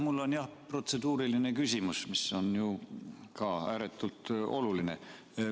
Mul on jah protseduuriline küsimus, mis on ju ka ääretult oluline.